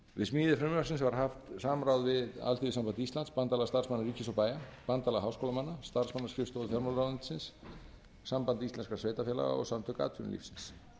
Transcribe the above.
við smíði frumvarpsins var haft samráð við alþýðusamband íslands bandalag starfsmanna ríkis og bæja bandalag háskólamanna starfsmannaskrifstofu fjármálaráðuneytis samband íslenskra sveitarfélaga og samtök atvinnulífsins